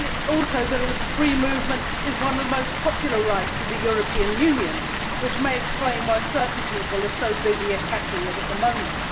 Also, free movement is one of the most popular rights of the European Union, which may explain why certain people are so busy attacking it at the moment.